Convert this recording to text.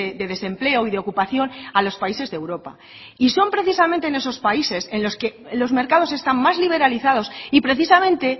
de desempleo y de ocupación a los países de europa y son precisamente en esos países en los que los mercados están más liberalizados y precisamente